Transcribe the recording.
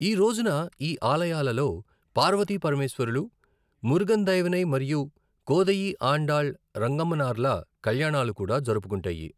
ఈ రోజున ఈ ఆలయాలలో పార్వతి పరమేశ్వరులు, మురుగన్ దైవనై, మరియు కోదయి ఆండాళ్ రంగమన్నార్ల కళ్యాణాలు కూడా జరుపుకుంటాయి.